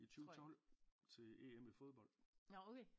I 2012 til EM i fodbold